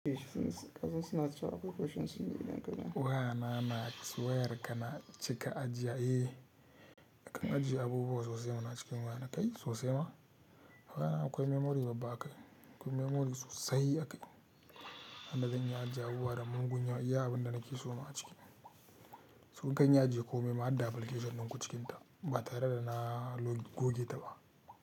Eh suna, kazin suna ciwa akwai questions sun yi danganja. Uwa na na software ka na cika ajiya eh. Ka ajiye abubuwa sosai ma na cikin waya na kai sosai ma. Wayana akwai memory babba akai, akwai memory sosai akai. Haba zan iya ajiye abubuwa da mugun yawa, iya abinda nake suma a ciki. So zan ajiye komai, ma harda application din ku cikin ta ba tare da na goge ta ba.